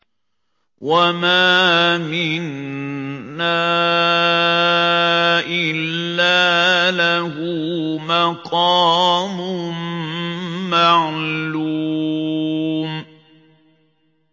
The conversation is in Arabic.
وَمَا مِنَّا إِلَّا لَهُ مَقَامٌ مَّعْلُومٌ